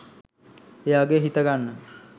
එයාගේ හිත ගන්න